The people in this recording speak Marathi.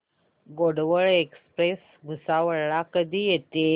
गोंडवन एक्सप्रेस भुसावळ ला कधी येते